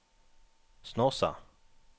Snåsa